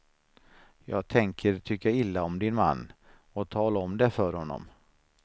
Jag tänker tycka illa om din man, och tala om det för honom.